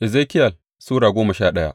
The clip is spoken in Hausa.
Ezekiyel Sura goma sha daya